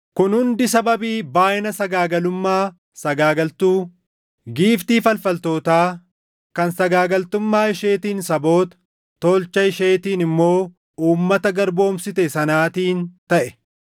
kun hundi sababii baayʼina sagaagalummaa sagaagaltuu, giiftii falfaltootaa, kan sagaagaltummaa isheetiin saboota, tolcha isheetiin immoo uummata garboomsite sanaatiin taʼe.